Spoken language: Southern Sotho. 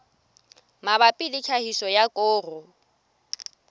mabapi le tlhahiso ya koro